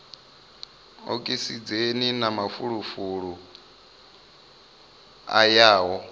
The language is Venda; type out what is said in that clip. okisidzheni na mafulufulu a yaho